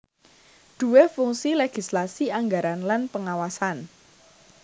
duwé fungsi legislasi anggaran lan pengawasan